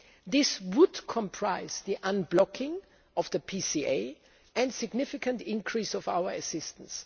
This would comprise the unblocking of the PCA and a significant increase in our assistance.